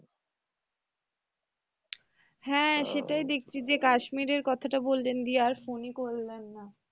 হ্যাঁ সেটাই দেখছি যে কাশ্মীরের কথাটা বললেন দিয়ে আর phone ই করলেন না।